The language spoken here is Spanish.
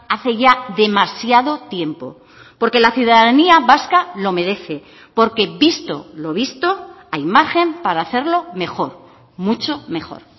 hace ya demasiado tiempo porque la ciudadanía vasca lo merece porque visto lo visto hay margen para hacerlo mejor mucho mejor